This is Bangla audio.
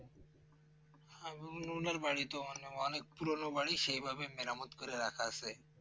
আহ উনার বাড়ি তো অনে অনেক পুরনো বাড়ি সেভাবে মেরামত করে রাখা আছে